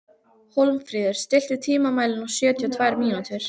Hólmfríður, stilltu tímamælinn á sjötíu og tvær mínútur.